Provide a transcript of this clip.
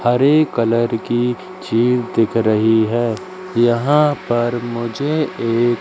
हरे colour की चीज दिख रही है यहां पर मुझे एक--